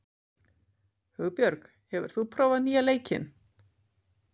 Hugbjörg, hefur þú prófað nýja leikinn?